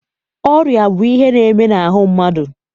Ọrịa bụ ihe na-eme n'ahụ mmadụ.